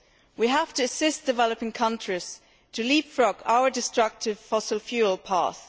We have to assist developing countries to leapfrog our destructive fossil fuel path.